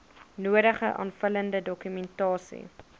nodige aanvullende dokumentasie